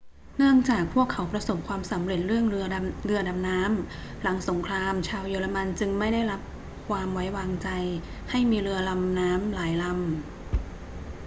เนื่องจากพวกเขาประสบความสำเร็จเรื่องเรือดำน้ำ หลังสงครามชาวเยอรมันจึงไม่ได้รับความไว้วางใจให้มีเรือลำน้ำหลายลำ